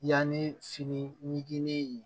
Yanni fini